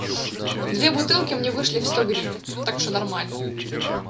две бутылки мне вышли в сто гривен так что нормально